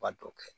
Ba dɔ kɛ